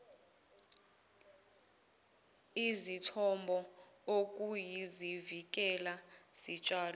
izithombo okuyizivikela zitshalo